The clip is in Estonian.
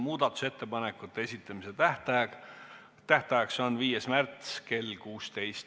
Muudatusettepanekute esitamise tähtaeg on 5. märts kell 16.